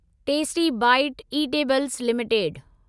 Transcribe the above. tasty bite eatables limited